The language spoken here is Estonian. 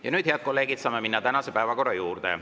Ja nüüd, head kolleegid, saame minna tänase päevakorra juurde.